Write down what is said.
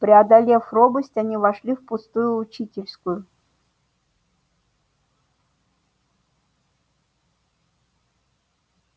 преодолев робость они вошли в пустую учительскую